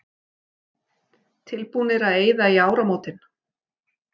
Tilbúnir að eyða í áramótin